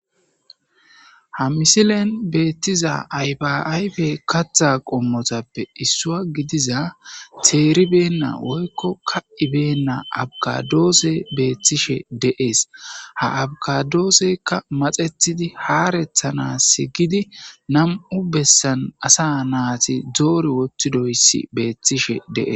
Ha misilen beettiza aybaayfe katha qommotappe issua gidiza teeribeenna oykko ka ibeenna abgadoose beeththishe deees ha abgadooseykka maxethidi haarethana si gidi nam'u bessan asa naati doori wottidoyssi beeththishe dee